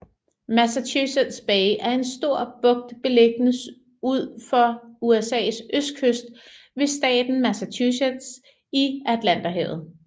Massachusetts Bay er en stor bugt beliggende ud for USAs østkyst ved staten Massachusetts i Atlanterhavet